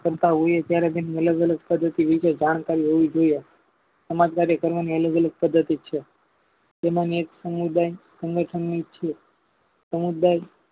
કરતા હોઈએ ત્યારે તેમ અલગ અલગ પદ્ધતિ વિશે જાણ કારી હોવી જોઈએ સમજદારી કરવાની અલગ અલગ પધ્ધતિ છે તેમાંની એક સમુદાય સંગઠની છે સમુદાય